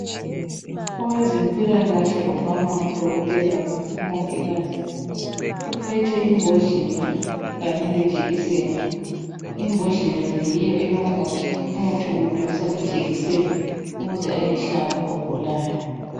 Owezempilakahle ongaba nguDokotela kumbe umongikazi uphethe imbodlela kanye lejekiseni. Imbodlela le yiyo elomuthi, umuthi uwudonsa ngejekiseni ukuze ayehlaba ogulayo.